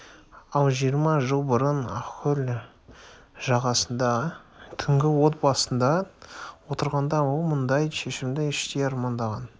ал жиырма жыл бұрын ақкөл жағасында түнгі от басында отырғанда ол мұндай шешімді іштей армандаған